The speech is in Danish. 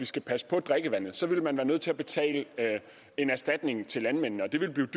skal passes på drikkevandet ville man være nødt til at betale en erstatning til landmændene